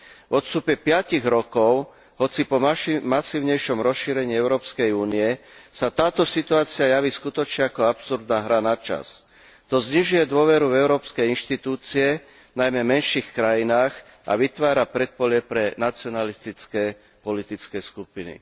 V odstupe piatich rokov, hoci po masívnejšom rozšírení Európskej únie, sa táto situácia javí skutočne ako absurdná hra na čas. To znižuje dôveru Európskej inštitúcie najmä v menších krajinách a vytvára predpolie pre nacionalistické politické skupiny.